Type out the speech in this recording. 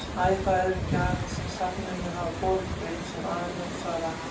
Æ, það eru gjafir sem safninu hafa borist frá ýmsum aðilum svaraði hann.